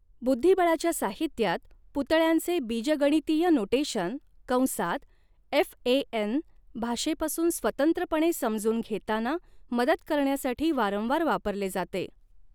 बुद्धिबळाच्या साहित्यात पुतळ्यांचे बीजगणितीय नोटेशन कंसात एफएएन भाषेपासून स्वतंत्रपणे समजून घेताना मदत करण्यासाठी वारंवार वापरले जाते.